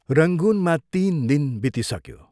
रंगूनमा तीन दिन बितिसक्यो।